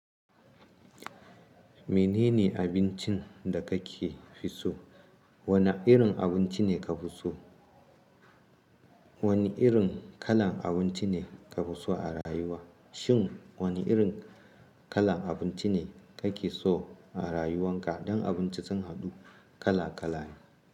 Menene abincin da kake fiso? Wane irin abinci ne ka fiso? Wane irin kalan abinci ne ka fiso a rayuwa? Shin wani irin kalan abinci ne kake so a rayuwan ka? Dan abinci sun haɗu kala kalane.